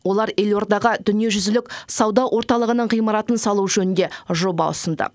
олар елордаға дүниежүзілік сауда орталығының ғимаратын салу жөнінде жоба ұсынды